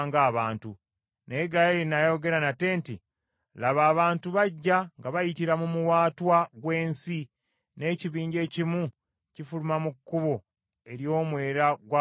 Naye Gaali n’ayogera nate nti, “Laba, abantu bajja nga bayitira mu muwaatwa gw’ensi, n’ekibinja ekimu kifuluma mu kkubo ery’omwera ogw’abafumu.”